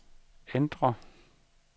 ændr